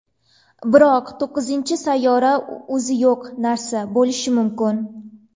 Biroq to‘qqizinchi sayyora o‘zi yo‘q narsa bo‘lishi mumkin.